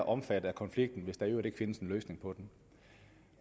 omfattet af konflikten hvis der i øvrigt ikke findes en løsning på den